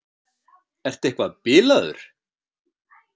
Ertu eitthvað bilaður?